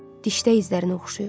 Dişdə izlərinə oxşayır.